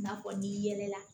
N'a fɔ n'i yɛlɛla